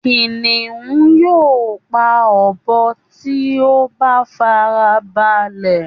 Kìnìún yóò pa ọbọ tí ó bá farabalẹ̀